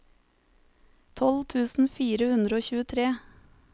tolv tusen fire hundre og tjuetre